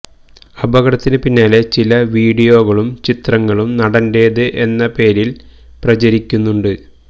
അപകടത്തിന് പിന്നാലെ ചില വീഡിയോകളും ചിത്രങ്ങളും നടന്റേത് എന്ന പേരില് പ്രചരിക്കുന്നുണ്ട്